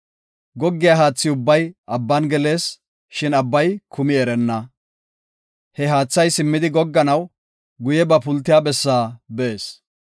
Goggiya haathi ubbay abban gelees; shin abbay kumi erenna. He haathay simmidi gogganaw, guye ba pultiya bessaa bees.